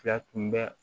Fila tun bɛ